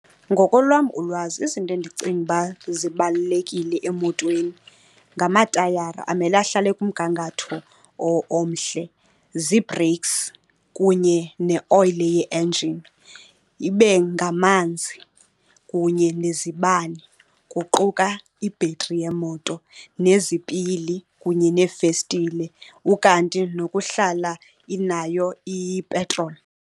Ngokolwam ulwazi izinto endicinga uba zibalulekile emotweni ngamatayara amele ahlale ekumgangatho omhle, zii-brakes kunye neoyile ye-engen, ibe ngamanzi kunye nezibane, kuquka ibhetri yemoto nezipili kunye neefestile, ukanti nokuhlala inayo ipetroli.